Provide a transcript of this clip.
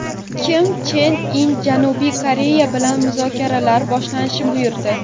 Kim Chen In Janubiy Koreya bilan muzokaralar boshlashni buyurdi.